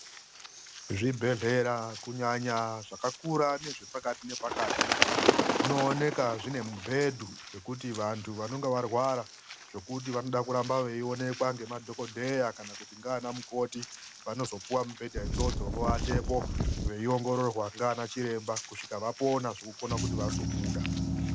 Zvibhedhlera kunyanya zvakakura nezvepakati nepakati zvinoonekwa zvine mubhedhu, zvekuti vantu vanenge varwara zvokuti vanoda kuramba vachionekwa nemadhokoteya kana kuti naana mukoti, vanozopuwa mubhedha idzodzo vovatapo veiongororwa naana chiremba kusvika vapora zvekukona kuti vazobuda.